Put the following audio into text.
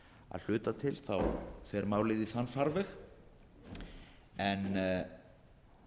að hluta til fer málið í þann farveg en